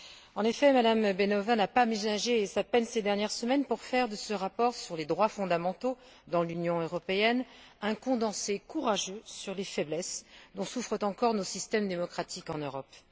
En effet, Mme Beňová n'a pas ménagé sa peine ces dernières semaines pour faire de ce rapport sur les droits fondamentaux dans l'Union européenne un condensé courageux sur les faiblesses dont souffrent encore nos systèmes démocratiques en Europe.